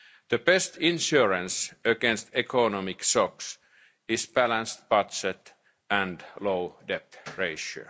us. The best insurance against economic shocks is a balanced budget and a low debt ratio.